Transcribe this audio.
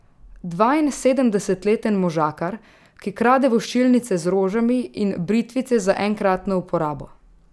Dvainsedemdesetleten možakar, ki krade voščilnice z rožami in britvice za enkratno uporabo.